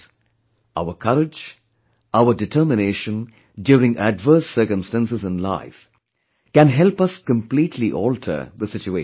Friends, our courage, our determination during adverse circumstances in life can help us completely alter the situation